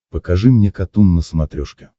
покажи мне катун на смотрешке